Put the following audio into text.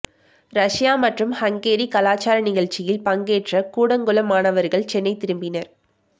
Russia மற்றும் Hungary கலாச்சார நிகழ்ச்சியில் பங்கேற்ற கூடங்குளம் மாணவர்கள் சென்னை திரும்பினர்